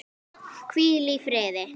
Hvíl í fríði.